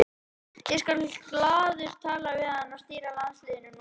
Ég skal glaður tala við hann en hann á að stýra landsliðinu núna.